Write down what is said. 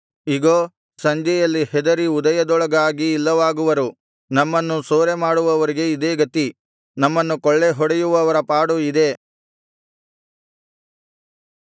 ಇಗೋ ಸಂಜೆಯಲ್ಲಿ ಹೆದರಿ ಉದಯದೊಳಗಾಗಿ ಇಲ್ಲವಾಗುವರು ನಮ್ಮನ್ನು ಸೂರೆ ಮಾಡುವವರಿಗೆ ಇದೇ ಗತಿ ನಮ್ಮನ್ನು ಕೊಳ್ಳೆಹೊಡೆಯುವವರ ಪಾಡು ಇದೇ